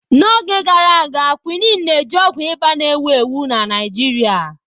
N'oge gara aga, Quinine na-eji ọgwụ ịba na-ewu ewu na Naịjirịa.